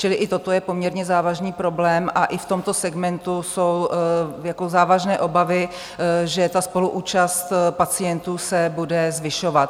Čili i toto je poměrně závažný problém a i v tomto segmentu jsou závažné obavy, že ta spoluúčast pacientů se bude zvyšovat.